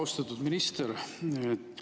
Austatud minister!